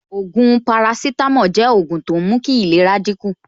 Ògùn paracetamol jẹ́ ògùn tó ń mú kí ìlera dín kù